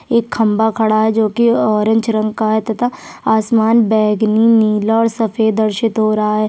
एक खम्भा खड़ा है जो की ऑरेंज रंग का है तथा आसमान बैंगनी नीला और सफेद दर्शित हो रहा है।